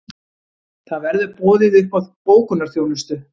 Það verður boðið upp á bókunarþjónustu